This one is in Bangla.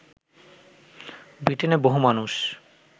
ব্রিটেনে বহু মানুষ